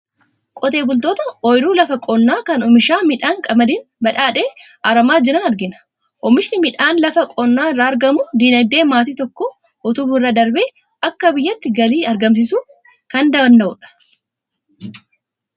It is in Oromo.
Qotee bultoota ooyiruu lafa qonnaa kan oomisha midhaan qamadiin badhaadhe aramaa jiran argina. Oomishni midhaan lafa qonnaa irraa argamu dinagdee maatii tokkoo utubuu irra darbee akka biyyaatti galii argamsiisuu kan danda'udha.